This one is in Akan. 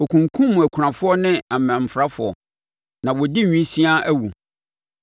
Wɔkunkumm akunafoɔ ne amanfrafoɔ; na wɔdi nwisiaa awu.